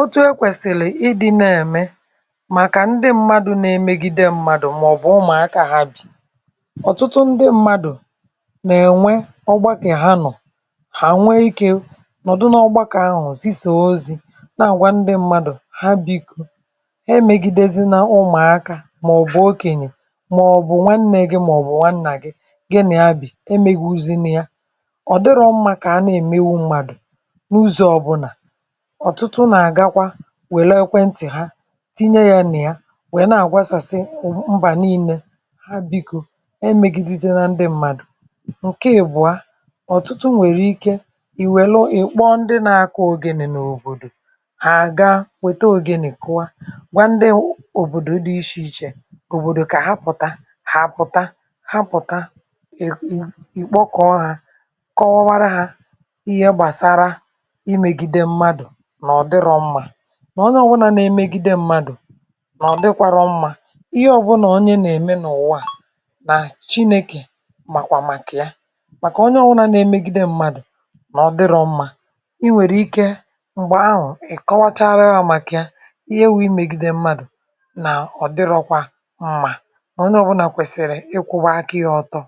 "Otu e kwèsìlì ịdị̇ na-ème màkà ndị mmadụ̇ na-emegide mmadụ̀ màọ̀bụ̀ ụmụ̀aka há bi. Ọtụtụ ndị mmadụ̀ nà-ènwe ọgbakọ ha nọ̀, hà nwe ikė nọ̀dụ n’ọgbȧkè ahụ̀ zi soo ozi̇ na-àgwa ndị mmadụ̀ ha bi̇ko emègidezi na ụmụ̀akȧ màọ̀bụ̀ okènyè màọ̀bụ̀ nwannė gị màọ̀bụ̀ nwannà gị gị nà ya bị̀ emegwuuzi na ya ,ọ̀ dịrọ mmȧ kà ana-èmegbu mmadụ̀ n’ụzọ ọbụnà. Ọtụtụ na agakwa wère ekwenti ha tinye ya nà ya, wèe na-agwasasị mbà nine, ha bikȯ emegideze na ndị mmadụ̀. Nke ìbụ̀a, ọ̀tụtụ nwèrè ike ì wèle ị̀ kpọ ndị na-akụ ogene n’òbòdò, hà àga wète ogene kụ̀ọ, gwa ndị o òbòdò dị iche ichè òbòdò kà ha pụ̀ta hà àpụ̀ta, ha pụ̀ta i i kpọkọ̀ọ ha kọwawara ha ihe gbasara imegide mmadụ na ọdịrọ mma, na onye ọbụna nà èmegide mmadụ na ọdịkwọrọ mma, ihe ọbụla onye na-eme n'ụwa a na Chineke màkwà màkà ya, màkà onye ọbụna na emegide mmadụ̀ nà ọ dịrọ mmȧ, i nwèrè ike m̀gbè ahụ̀ ị̀ kọwatarụva màkà ya ihe nwu imegide mmadụ̀ nà ọ dịrọkwa mmà, na onye ọbụnà kwèsìrì ịkwụ̇ba aka ya ọtọ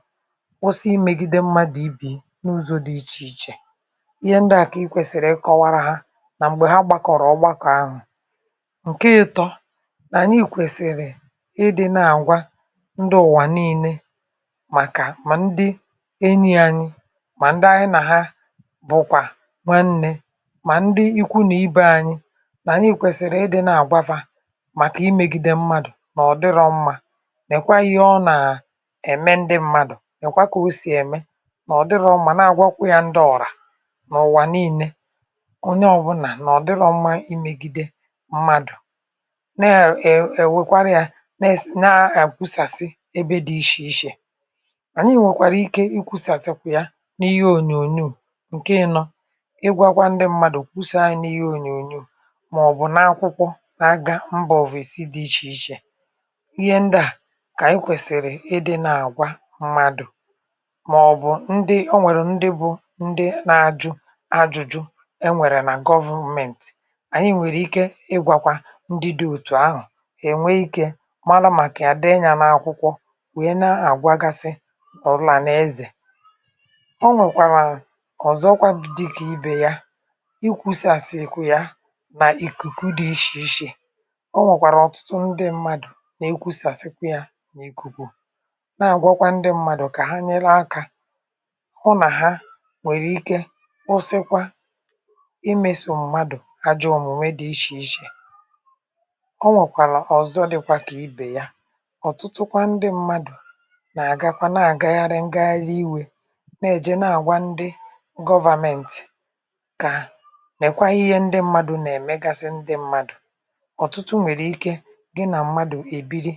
kwụsị imegide mmadụ̀ ibe ya n’ụzọ̇ dị ichè ichè, ihe ndịa ka ịkwesiri ịkọwara ha na mgbe ha gbakọrọ ọgbakọ ahụ. Nke ịtọ̇, nà anyị kwesiri ịdị̇ nà àgwa ndị ụ̀wà nii̇ne màkà mà ndị enyi̇ anyị, mà ndị anyị nà ha bùkwà nwanne, mà ndị ikwunàibe anyị̇, nà ànyị kwèsìrì ịdị̇ nà àgwafȧ màkà imėgide mmadù nà ọ dịrọ mmȧ, nekwa ihe ọ nà ème ndị mmadụ ,nekwa kà osì ème nà ọ dịrọ mma nà àgwakwu ya ndị ọ̀rà nà ụ̀wà nii̇ne, onye ọbụna na ọdịrọ mma imegide mmadụ, na ewè ewèkwarị ya neè na ekwusasi ebe dị̇ ishè ishè, ànyi nwèkwàrà ike i kwụsasị ya n’ihe ònyònyò. Nke ịnọ, ịgwagwa ndị mmadụ̀ kwụsa nya n’ihe ònyònyò màọ̀bụ̀ na-akwụkwọ n’agȧ mbà òvesi dị̇ ichè ichè, ihe ndịà kà ànyị kwèsị̀rị̀ ịdị̇ nà-àgwa mmadụ̀ màọ̀bụ̀ ndị, o nwèrè ndị bụ ndị na ajụ ajụjụ e nwèrè nà gọvument, anyị nwere ike ịgwakwa ndị dị̇ òtù ahụ̀ ènwe ikė mara màkà ya dee nya n’akwụkwọ wèe na-àgwagasi ọ̀lanaeze. O nwèkwàrà ọ̀zọkwa dịkà ibè ya, ikwusàsikwa ya nà ìkùkù dị ishè ishè ,o nwèkwàrà ọ̀tụtụ ndị mmadù na-ekwusàsị̀ kwa ya nà ìkùkù, na-àgwakwa ndị mmadù kà ha nyere aka hụ nà ha nwèrè ike kwụsịkwa imeso mmadu ajọ omume dị ishe ishe. O nwèkwàlà ọ̀zọ dịkwa kà ibè ya, ọ̀tụtụ kwa ndị mmadụ̀ nà-àgakwa na-àgagharị ngagharị iwè na-èje na-àgwa ndị gọvamenti kà nèkwa ihe ndị mmadụ̇ nà-èmegasị ndị mmadụ̀, ọ̀tụtụ nwèrè ike gị nà mmadụ̀ èbiri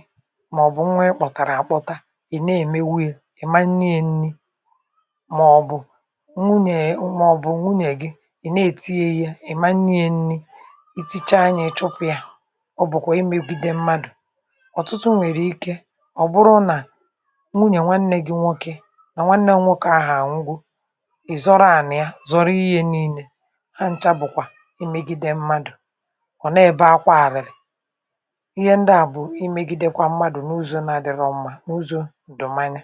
màọ̀bụ̀ nwa ịkpọ̀tàrà àkpọta, ị̀ na-èmewu ya ,ima nnye ye nni maọ̀bụ̀ nwunye màọ̀bụ̀ nwunye gị, i na-ètii ya ihe ima nnye yá nni, itichaa nya ị chụpụ̇ ya ,ọ bụ̀kwà imėgide mmadụ̀ ,ọ̀tụtụ nwèrè ike ọ̀ bụrụ nà nwunyè nwanne gi nwoke nà nwanne gị nwokė ahụ̀ anwụgo, ị̀zọrọ ànị̀ ya zọrọ ihe nii̇ne, ha ǹcha bụ̀kwà imegide mmadụ̀ ,ọ̀ nà-ebe akwa àrị̀rị̀ ,ihe ndị à bụ̀ imegidekwa mmadụ̀ n’ụzọ na-adị̇rọ̇ ọ̀mà n’ụzọ ǹdụ̀manya.